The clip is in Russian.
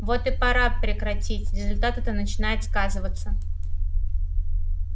вот и пора прекратить результаты-то начинают сказываться